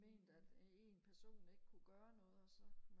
ment at en person ikke kunne gøre noget og så